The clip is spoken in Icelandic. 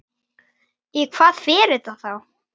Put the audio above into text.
Í hvað fer þetta þá?